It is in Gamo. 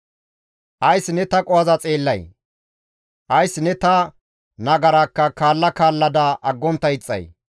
Ays ne ta qohoza xeellay? Ays ne ta nagarakka kaalla kaallada aggontta ixxay?